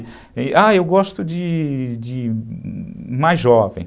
Ah, eu gosto de de mais jovem.